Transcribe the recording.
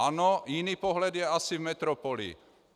Ano, jiný pohled je asi v metropoli.